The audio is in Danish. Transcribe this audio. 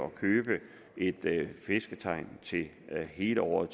købe et fisketegn til hele året